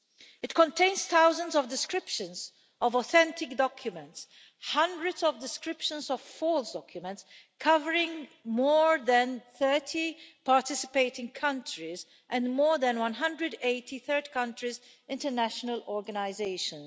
It contains thousands of descriptions of authentic documents, hundreds of descriptions of false documents, covering more than 30 participating countries, and more than 180 third countries' international organisations.